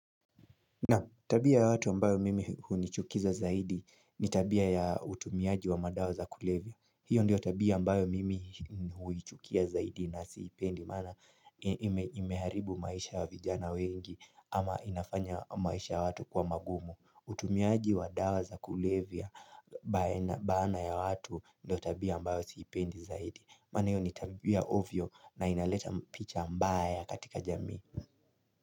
Tabia ya watu ambayo mimi hunichukiza zaidi, ni tabia ya utumiaji wa madawa za kulevya. Hiyo ndio tabia ambayo mimi huichukia zaidi, na siipendi maana imeharibu maisha ya vijana wengi, ama inafanya maisha ya watu kuwa magumu. Utumiaji wa dawa za kulevya baana ya watu ndio tabia ambayo siipendi zaidi, maana hiyo ni tabia ovyo, na inaleta picha mbaya katika jami.